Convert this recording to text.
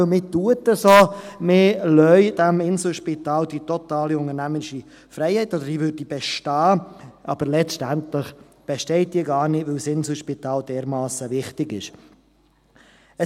Man gibt dem Inselspital das Gefühl, dass man ihm die totale unternehmerische Freiheit gibt oder dass diese besteht, aber letztendlich besteht diese gar nicht, weil das Inselspital dermassen wichtig ist.